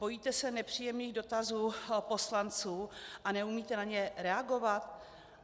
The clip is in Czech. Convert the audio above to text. Bojíte se nepříjemných dotazů poslanců a neumíte na ně reagovat?